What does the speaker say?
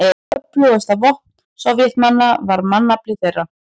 Öflugasta vopn Sovétmanna var mannafli þeirra.